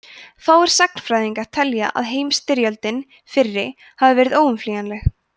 fáir sagnfræðingar telja að heimsstyrjöldin fyrri hafi verið óumflýjanleg